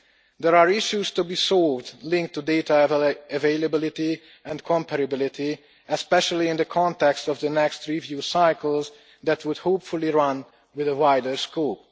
There are issues to be solved linked to data availability and comparability, especially in the context of the next review cycles that would hopefully run with a wider scope.